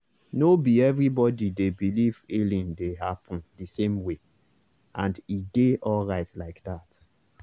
no be everybody dey believe healing dey happen the same way—and e dey alright like that.